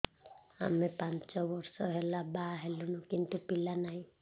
ଆମେ ପାଞ୍ଚ ବର୍ଷ ହେଲା ବାହା ହେଲୁଣି କିନ୍ତୁ ପିଲା ନାହିଁ